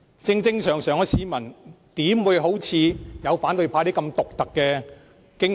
正常市民怎會有反對派議員獨特的驚恐？